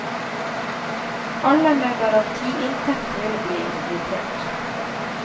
Alle med garantiinntekt vil bli invitert.